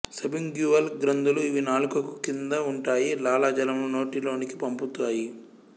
sublingual గ్రంధులు ఇవి నాలుకకు క్రింద ఉంటాయి లాలజలమును నోటి లోనికి పంపుతాయి